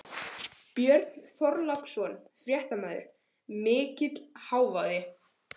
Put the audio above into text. Björn Þorláksson, fréttamaður: Mikill hávaði?